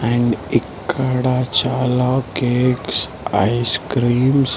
and ఇక్కడ చాలా cakes ice creams --